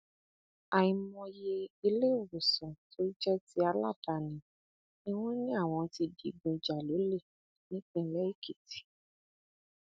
àìmọye iléèwòsàn tó jẹ ti aládàáni ni wọn ní àwọn ti digun jà lọlẹ nípínlẹ èkìtì